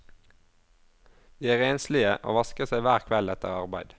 De er renslige og vasker seg hver kveld etter arbeid.